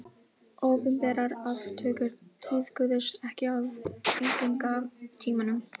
Opinberar aftökur tíðkuðust ekki á víkingatímanum.